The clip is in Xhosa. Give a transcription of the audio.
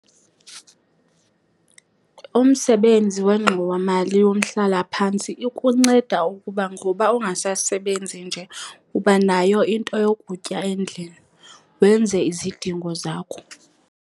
Umsebenzi wengxowamali yomhlalaphantsi ikunceda ukuba ngoba ungasasebenzi nje uba nayo into yokutya endlini, wenze izidingo zakho.